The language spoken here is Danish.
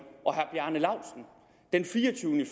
og herre bjarne laustsen den fireogtyvende